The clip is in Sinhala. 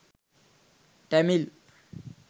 tamil